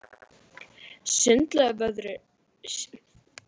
Sundlaugarvörðurinn starði á þau og beið færis.